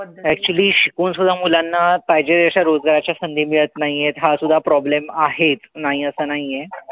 Actually शिकवून सुद्धा मुलांना पाहिजे तशा रोजगाराची संधी मिळत नाहीये. हा सुद्धा problem आहे. नाही असं नाई.